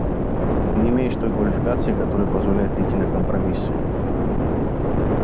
ты не имеешь той квалификации которая позволяет идти на компромиссы